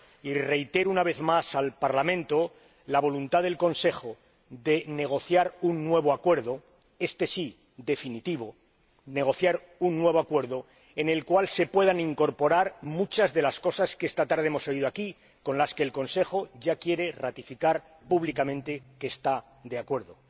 Y reitero, una vez más, al Parlamento la voluntad del Consejo de negociar un nuevo Acuerdo —éste sí, definitivo-en el que se puedan incorporar muchas de las cosas que esta tarde hemos oído aquí y con las que el Consejo quiere ratificar públicamente que está de acuerdo.